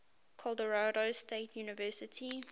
colorado state university